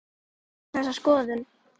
Ég hef ekki þessa skoðun.